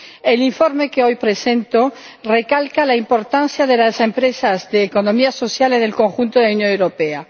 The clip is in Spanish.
El informe que hoy presento recalca la importancia de las empresas de la economía social en el conjunto de la Unión Europea.